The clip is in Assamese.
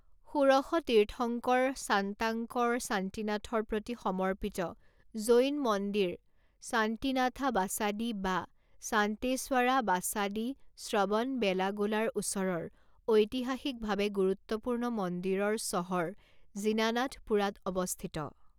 ষোড়শ তীৰ্থংকৰ শান্তাংকৰ শান্তিনাথৰ প্ৰতি সমৰ্পিত জৈন মন্দিৰ শান্তিনাথা বাচাদি বা শান্তেশৱৰা বাসাদী শ্ৰৱণবেলাগোলাৰ ওচৰৰ ঐতিহাসিকভাৱে গুৰুত্বপূৰ্ণ মন্দিৰৰ চহৰ জিনানাথপুৰাত অৱস্থিত।